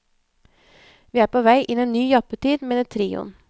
Vi er på vei inn i en ny jappetid, mener trioen.